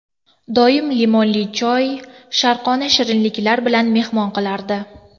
Doim limonli choy, sharqona shirinliklar bilan mehmon qilardi.